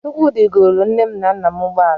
Chukwudi golu nne m na nna m ụgbọala.